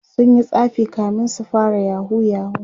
sunyi tsafi kamin su fara yahoo yahoo